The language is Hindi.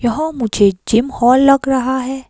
यह मुझे जिम हॉल लग रहा है।